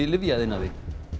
lyfjaiðnaði